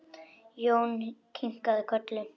Jón kinkaði kolli.